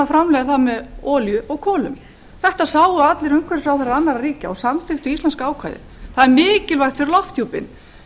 framleiða það með olíu og kolum þetta sáu allir umhverfisráðherrar annarra ríkja og samþykktu íslenska ákvæðið það er mikilvægt fyrir lofthjúpinn